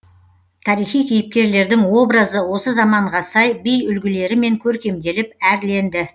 тарихи кейіпкерлердің образы осы заманға сай би үлгілерімен көркемделіп әрленді